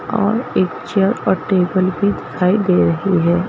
और एक चेयर और टेबल भी दिखाई दे रही है।